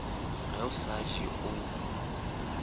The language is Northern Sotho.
ge o sa je o